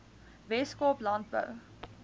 wes kaap landbou